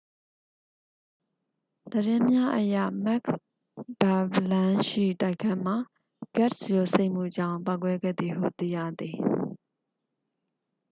သတင်းများအရ မက်ခ်ဘသ်လမ်းရှိ တိုက်ခန်းမှာ ဂတ်စ် ယိုစိမ့်မှုကြောင့် ပေါက်ကွဲခဲ့သည်ဟု သိရသည်